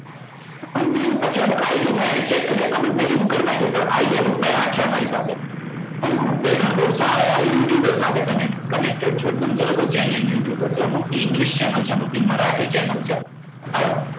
અને પછી અમુક ID મેં check કર્યા comment મેં remove કર નાખ્યા પણ ID અમુક મેં રાખ્યા મારી પાસે અને હું બે ત્રણ બઉ સારા you tuber સાથે connect connected છુ એકદમ ગણો તો genuine you tuber તો અમુક ની english channel છે અમુક ની મરાઠી channel છે હવે